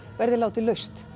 verði látið laust